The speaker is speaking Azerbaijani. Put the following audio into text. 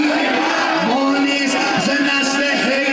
Biz deyiləm, biz deyiləm, biz deyiləm.